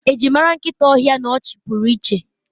eji mara nkita ohia n'ọchị pụrụ iche